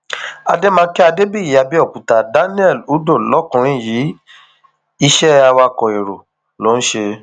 àdèmàkè adébíyì àbẹòkúta daniel udoh lọkùnrin yìí iṣẹ awakọ èrò ló ń ṣe